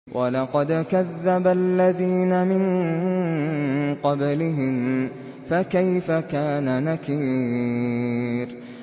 وَلَقَدْ كَذَّبَ الَّذِينَ مِن قَبْلِهِمْ فَكَيْفَ كَانَ نَكِيرِ